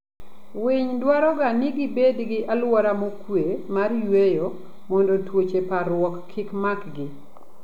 Winy dwaroga ni gibed gi aluora mokwe mar yueyo mondo tuoche parruok kik makgi.